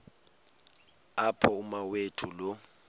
apho umawethu lo